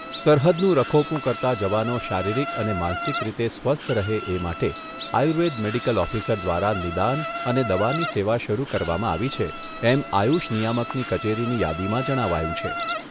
સરહદનું રખોપું કરતા જવાનો શારીરીક અને માનસિક રીતે સ્વસ્થ રહે એ માટે આયુર્વેદ મેડિકલ ઓફિસર દ્વારા નિદાન અને દવાની સેવા શરૂ કરવામાં આવી છે એમ આયુષ નિયામકની કચેરીની યાદીમાં જણાવાયું છે.